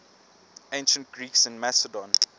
ancient greeks in macedon